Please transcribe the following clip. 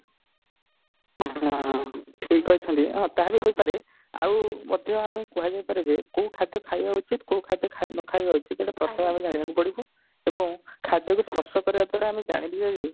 ହଁ ଠିକ କହିଛନ୍ତି ତାହା ବି ହେଇପାରେ ଆଉ ମଧ୍ୟ ଆମେ କୁହାଯାଇ ପାରେ ଯେ କୋଉ ଖାଦ୍ୟ ଖାଇବା ଉଚିତ କୋଉ ଖାଦ୍ୟ ନଖାଇବା ଉଚିତ ତ ଏଇଟା ଆମେ ପ୍ରଥମେ ଜାଣିବାକୁ ପଡିବ ଏବଂ ଖାଦ୍ୟ କୁ ସ୍ପର୍ଶ କରିବା ଦ୍ଵାରା ଜାଣିଯିବା ଯେ